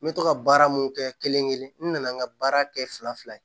N bɛ to ka baara mun kɛ kelen kelen n nana n ka baara kɛ fila fila ye